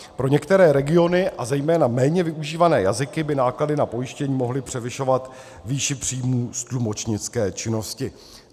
Pro některé regiony a zejména méně využívané jazyky by náklady na pojištění mohly převyšovat výši příjmů z tlumočnické činnosti.